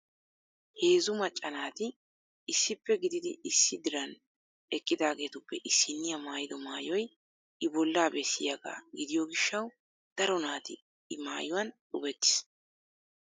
heezzu macca naati issippe gididi issi diran eqqidaageetuppe issiniya maayyiddo maayyoy I bollaa bessiyaaga gidiyo gishshaw daro naati I maayyuwaan xubeetiis.